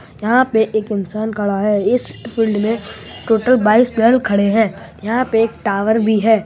यहाँ पे एक इन्सान खड़ा है। इस फील्ड में टोटल बाईस प्लेयर खड़े है। यहाँ पे एक टावर भी है।